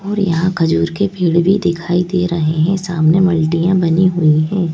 और यहां खजूर के पेड़ भी दिखाई दे रहे हैं सामने मल्टियां बनी हुई हैं।